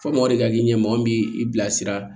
Fɔ mɔgɔ de ka k'i ɲɛmɔgɔ min bi i bilasira